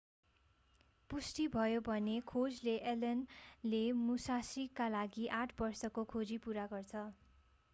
पुष्टि भयो भने खोजले allen 0ले मुशाशीका लागि आठ बर्षको खोजी पूरा गर्छ